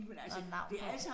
Og navn på